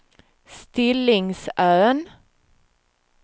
Stillingsön